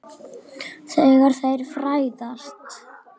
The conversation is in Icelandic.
Þegar þeir fæðast